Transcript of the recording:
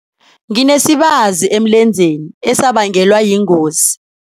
Nginesibazi emlenzeni esabangelwa yingozi.